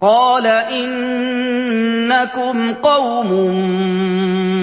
قَالَ إِنَّكُمْ قَوْمٌ